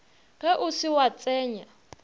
ge o se wa tsenya